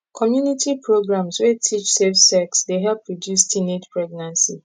community programs wey teach safe sex dey help reduce teenage pregnancy